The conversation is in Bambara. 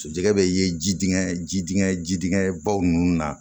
Sojɔ bɛ ye ji dingɛ jiyɛn jidigɛn baw ninnu na